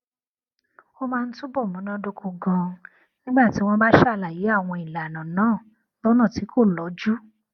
ó máa ń túbò múnádóko ganan nígbà tí wón bá ṣàlàyé àwọn ìlànà náà lónà tí kò lọjú